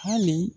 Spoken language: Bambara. Hali